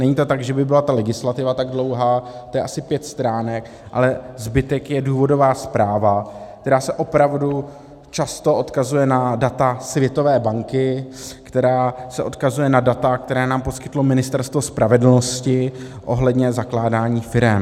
Není to tak, že by byla ta legislativa tak dlouhá, to je asi pět stránek, ale zbytek je důvodová zpráva, která se opravdu často odkazuje na data Světové banky, která se odkazuje na data, která nám poskytlo Ministerstvo spravedlnosti ohledně zakládání firem.